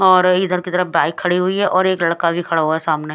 और इधर की तरफ एक बाइक खड़ी हुई है और एक लड़का भी खड़ा हुआ है सामने--